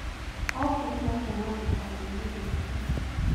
Okĩrire kuma gĩtanda-inĩ gĩake